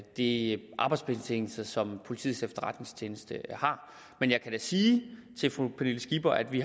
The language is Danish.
de arbejdsbetingelser som politiets efterretningstjeneste har men jeg kan da sige til fru pernille skipper at vi